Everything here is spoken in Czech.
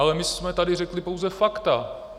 Ale my jsme tady řekli pouze fakta.